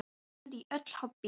Ég var send í öll hobbí.